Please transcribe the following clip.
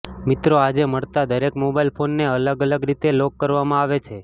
મિત્રો આજે મળતા દરેક મોબાઈલ ફોનને અલગ અલગ રીતે લોક કરવામાં આવે છે